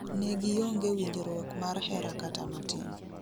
Ne gionge winjruok mar hera kata matin